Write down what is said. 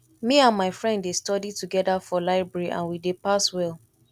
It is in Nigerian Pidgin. me and my friend dey study together for library and we dey pass well